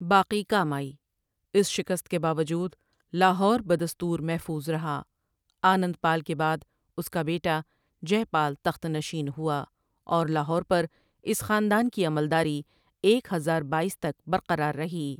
باقی کام آئی اس شکست کے باوجود لاہور بدستور محفوظ رہا آنند پال کے بعد اس کا بیٹا جے پال تخت نشین ہوا اور لاہور پر اس خاندان کی عملداری ایک ہزار بایس تک برقرار رہی۔